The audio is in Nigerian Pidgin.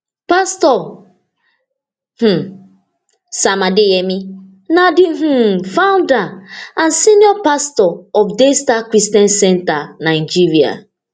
pastor um sam adeyemi na di um founder and senior pastor of daystar christian centre nigeria